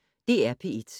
DR P1